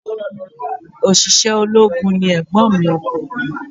Òṣìṣẹ́ ológun ni ègbon mi ọkùnrin